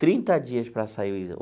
Trinta dias para sair o exame.